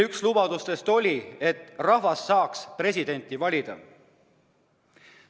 Üks lubadustest oli, et rahvas peab saama presidenti valida.